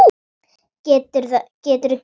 Geturðu gengið?